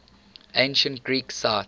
ancient greek sites